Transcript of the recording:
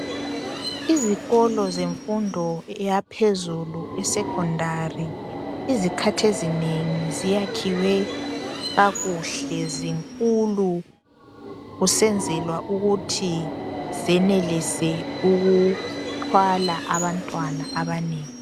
Izikolo zemfundo yaphezulu esecondary izikhath' ezinengi ziyakhiwe kakuhle zinkulu kusenzelwa ukuthi zenelise ukuthwala abantwana abanengi.